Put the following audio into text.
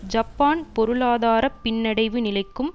Japan பொருளாதார பின்னடைவு நிலைக்கும்